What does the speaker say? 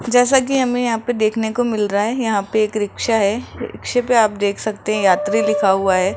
जैसा कि हमें यहां पे देखने को मिल रहा है यहां पे एक रिक्शा है रिक्शे पे आप देख सकते है यात्री लिखा हुआ है।